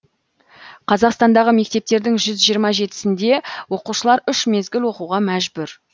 қазақстандағы мектептердің жүз жиырма жетісінде оқушылар үш мезгіл оқуға мәжбүр